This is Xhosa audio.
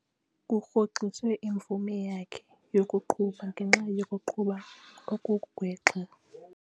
Kurhoxiswe imvume yakhe yokuqhuba ngenxa yokuqhuba okugwexa.